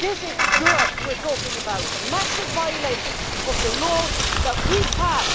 This is Europe we are talking about, and massive violations of the laws that we pass.